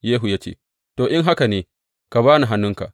Yehu ya ce, To, in haka ne ka ba ni hannunka.